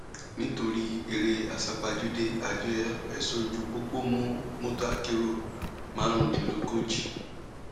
nítorí eré àsápajúdé àjọ ẹṣọ ojú pópó mú mọtò akérò márùndínlógójì